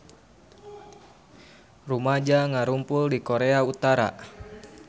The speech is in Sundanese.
Rumaja ngarumpul di Korea Utara